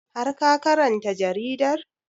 Har ka karanta jaridar?